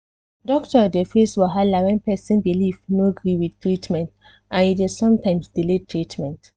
doctor dey face wahala when person belief no gree with treatment and e de sometimes delay treatment